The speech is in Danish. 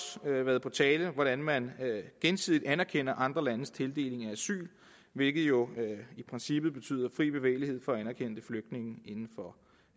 været på tale hvordan man gensidigt anerkender andre landes tildeling af asyl hvilket jo i princippet betyder fri bevægelighed for anerkendte flygtninge inden for